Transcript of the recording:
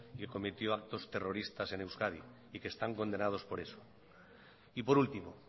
y cometió actos terroristas en euskadi y que están condenados por eso y por último